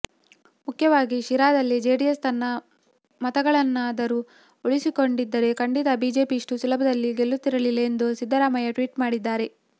ಮುಖ್ಯವಾಗಿ ಶಿರಾದಲ್ಲಿ ಜೆಡಿಎಸ್ ತನ್ನ ಮತಗಳನ್ನಾದರೂ ಉಳಿಸಿಕೊಂಡಿದ್ದರೆ ಖಂಡಿತ ಬಿಜೆಪಿ ಇಷ್ಟು ಸುಲಭದಲ್ಲಿ ಗೆಲ್ಲುತ್ತಿರಲಿಲ್ಲ ಎಂದು ಸಿದ್ದರಾಮಯ್ಯ ಟ್ವಿಟ್ ಮಾಡಿದ್ದಾರೆ